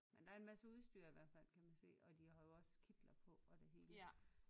Men der er en masse udstyr i hvert fald kan man se og de har jo også kitler på og det hele